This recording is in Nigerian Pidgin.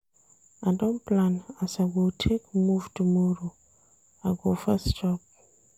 I don plan as I go take move tomorrow, I go first chop.